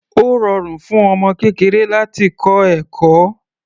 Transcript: Ó rọrùn fún ọmọ kékeré láti kọ́ ẹ̀kọ́.